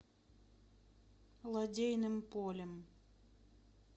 лодейным полем